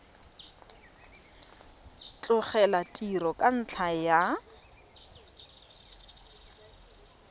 tlogela tiro ka ntlha ya